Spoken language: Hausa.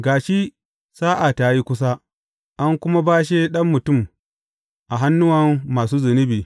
Ga shi, sa’a ta yi kusa, an kuma bashe Ɗan Mutum a hannuwan masu zunubi.